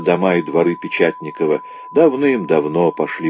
давай дворы печатникова давным-давно прошли